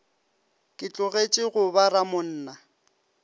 ke tlogetše go ba ramonna